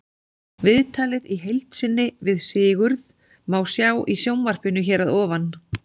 Viðtalið í heild sinni við Sigurð má sjá í sjónvarpinu hér að ofan.